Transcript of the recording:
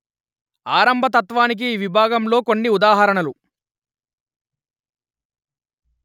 ఆరంభతత్వానికి ఈ విభాగంలో కొన్ని ఉదాహరణలు